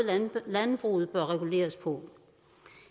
landbruget bør reguleres på